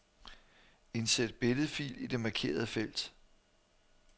Indsæt billedfil i det markerede felt.